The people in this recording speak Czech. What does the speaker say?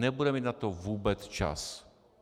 Nebudeme mít na to vůbec čas.